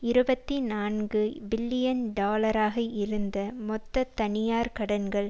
இருபத்தி நான்கு பில்லியன் டாலராக இருந்த மொத்த தனியார் கடன்கள்